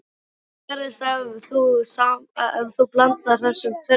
Hvað gerist ef þú blandar þessu tvennu saman?